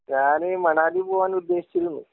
ഞാന് മണാലി പോവാൻ ഉദ്ദേശിച്ചിരുന്നു